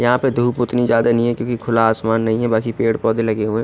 यहाँ पर धुप उतनी ज्यादा नही है क्युकी खुला आसमान नही है बाकी पेड़ पोधे लगे हुए है।